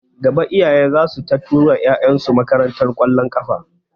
Gaba iyaye zasu ta tura ƴaƴan su makarantar ƙwallon kafa